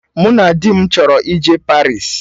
Mụ na di m chọrọ ije Paris